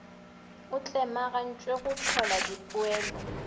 a tlemagantpwe go hlola dipoelo